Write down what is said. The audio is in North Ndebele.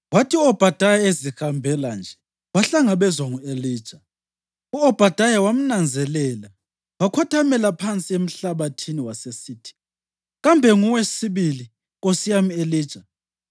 Kwathi u-Obhadaya ezihambela nje, wahlangabezwa ngu-Elija. U-Obhadaya wamnanzelela, wakhothamela phansi emhlabathini, wasesithi, “Kambe nguwe sibili, nkosi yami Elija?”